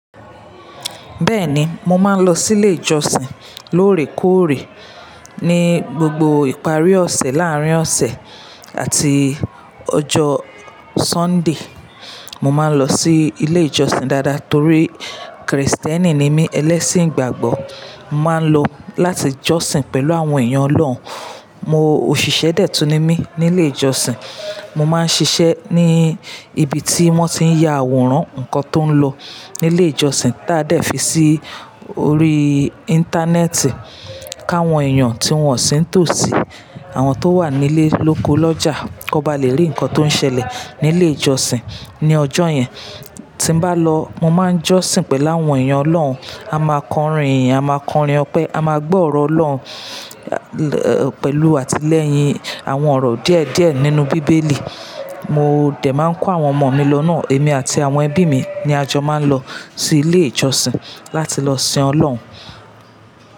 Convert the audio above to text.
Bẹ́ẹ̀ni, mo máa ń lọ sí ilé ìjọsìn lóòrèkóòrè. Ni gbogbo ìparí ọ̀sẹ̀, láàárín ọ̀sẹ̀ àti ọjọ́ Sunday, mo máa ń lọ sí ilé ìjọsìn dáadáa torí Kristẹni ni mí, ẹlẹ́sìn ìgbàgbọ́. Mo máa ń lọ láti jọ́sìn pẹ̀lú àwọn èèyàn Ọlọ́run. Mo òṣìṣẹ́ dèétù ni mí nilé ìjọsìn. Mo máa ń ṣiṣẹ́ ní ibi tí wọ́n ti ń ya àwòrán nǹkan tó ń lọ ní ilé ìjọsìn táa dẹ̀ fi sí orí íńtánẹ́ẹ̀tì káwọn èèyàn tí wọ́n sí ń tò sí, àwọn tó wà nílé lóko lọ́jà kó ba lè rí nǹkan tó ń ṣẹlẹ̀ ní ilé ìjọsìn ní ọjọ́ yẹn. Tí n bá lọ, mo máa ń jọ́sìn pẹ̀lú àwọn èèyàn Ọlọ́run. A máa kọrin ìyìn, a máa kọrin ọpẹ́, a máa gbọ́ ọ̀rọ̀ Ọlọ́run, pẹ̀lú àtilẹ́yin àwọn ọ̀rọ̀ díẹ̀díẹ̀ nínú bíbélì. Mo dẹ̀ máa ń kó àwọn ọmọ mi lọ náà. Èmi àti àwọn ẹbí mi ni a jọ máa ń lọ sí ilé ìjọsìn láti lọ sin Ọlọ́run.